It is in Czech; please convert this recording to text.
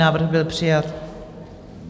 Návrh byl přijat.